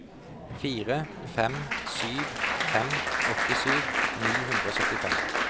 fire fem sju fem åttisju ni hundre og syttifem